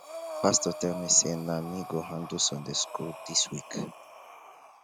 pastor tell me say na me go handle sunday school dis week